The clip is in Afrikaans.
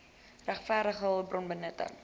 regverdige hulpbron benutting